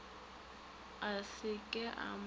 a se ke a mo